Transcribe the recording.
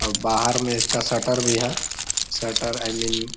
और बाहर में इसका शटर भी है। Shutter I mean --